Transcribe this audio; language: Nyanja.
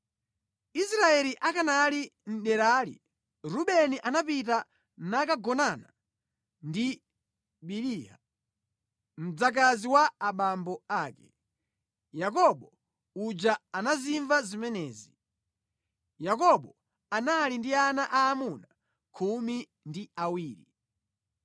Israeli akanali mʼderali, Rubeni anapita nakagonana ndi Biliha, mdzakazi wa abambo ake. Yakobo uja anazimva zimenezi. Yakobo anali ndi ana aamuna khumi ndi awiri: